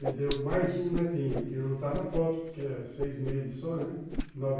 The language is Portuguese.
Me deu mais um netinho, que não está na foto porque é seis meses só, né?